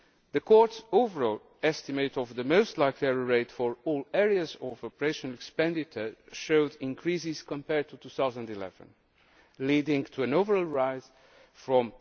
The Court's overall estimate of the most likely error rate for all areas of operational expenditure showed increases compared to 2011, leading to an overall rise from